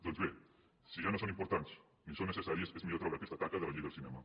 doncs bé si ja no són importants ni són necessàries és millor treure aquesta taca de la llei del cinema